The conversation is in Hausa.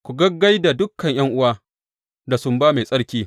Ku gaggai da dukan ’yan’uwa da sumba mai tsarki.